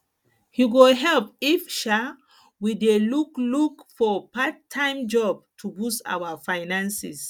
e go good if sha um we dey look for part time job to boost our finances